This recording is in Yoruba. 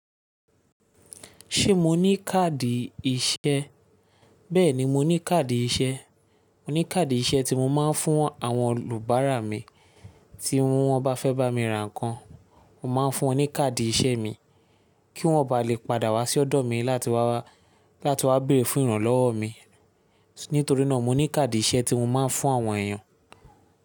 Ṣé mo ní káàdì iṣẹ́? Bẹ́ẹ̀ni mo ní káàdì iṣẹ́. Mo ní káàdì iṣẹ́ tí mo máa ń fún àwọn olùbáara mi, tí wọ́n bá fẹ́ bá mi ra nǹkan. Mo máa ń fún wọn ní káàdì iṣẹ́ mi kí wọ́n ó ba lè padà wá sí ọ̀dọ̀ mi láti wá béèrè fún ìrànlọ́wọ́ mi. Nítorí náà mo ní káàdì iṣẹ́ tí mo máa ń fún àwọn èèyàn.